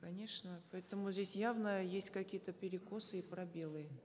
конечно поэтому здесь явно есть какие то перекосы и пробелы